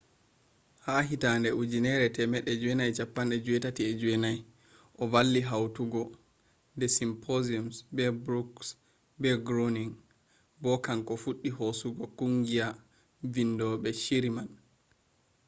ha 1989 o valli hautugo the simpsons be brooks be groaning bo kanko fuddi hosugo kungiya vindobe shiri man